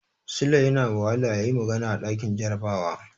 Sule yana wahala yayi magana a ɗakin jarabawa.